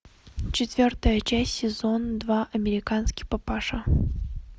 четвертая часть сезон два американский папаша